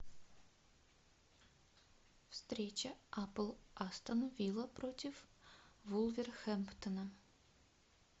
встреча апл астон вилла против вулверхэмптона